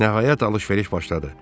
Nəhayət alış-veriş başladı.